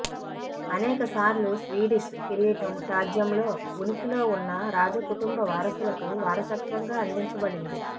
అనేక సార్లు స్వీడిష్ కిరీటం రాజ్యంలో ఉనికిలో ఉన్న రాజకుటుంబ వారసులకు వారసత్వంగా అందించబడింది